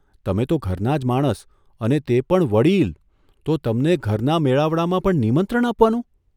તમે તો ઘરનાં જ માણસ અને તે પણ વડીલ તો તમને ઘરના મેળાવડામાં પણ નિમંત્રણ આપવાનું?